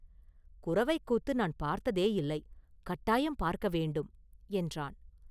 “குரவைக் கூத்து நான் பார்த்ததேயில்லை; கட்டாயம் பார்க்க வேண்டும்” என்றான்.